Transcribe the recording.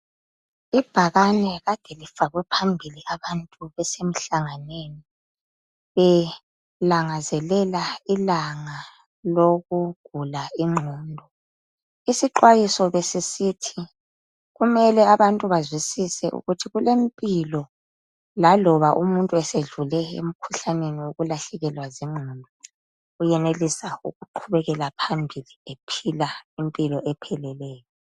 Ibhakane kade lifakwe phambili abantu besemhlanganweni belangazelela ilanga lokugula ingqondo. Isixwayiso besisithi kumele abantu bazwisise ukuthi kulempilo laloba umuntu esedlule emikhuhlaneni wokulahlekelwa zingqondo uyenelisa ukuqhubekela phambili ephila impilo epheleleyo.